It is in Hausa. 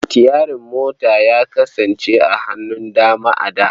Sitiyari ya kasance a hannun dama a da.